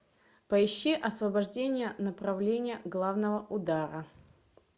поищи освобождение направления главного удара